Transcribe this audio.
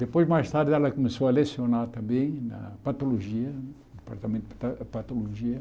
Depois, mais tarde, ela começou a lecionar também na Patologia, no Departamento de Pa Patologia.